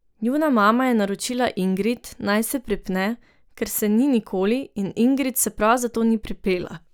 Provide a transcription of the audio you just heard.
Njuna mama je naročila Ingrid, naj se pripne, ker se ni nikoli, in Ingrid se prav zato ni pripela.